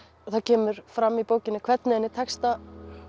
það kemur fram í bókinni hvernig henni tekst að